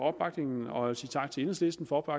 opbakningen og jeg vil sige tak til enhedslisten for